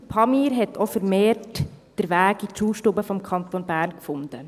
Der «Pamir» hat auch vermehrt den Weg in die Schulstuben des Kantons Bern gefunden.